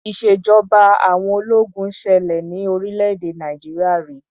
Ìṣèjọba àwọn ológun ṣẹlẹ ní orílẹ̀-èdè Nàìjíríà ri.